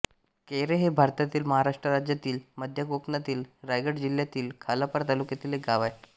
कैरे हे भारतातील महाराष्ट्र राज्यातील मध्य कोकणातील रायगड जिल्ह्यातील खालापूर तालुक्यातील एक गाव आहे